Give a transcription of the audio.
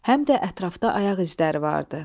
Həm də ətrafda ayaq izləri vardı.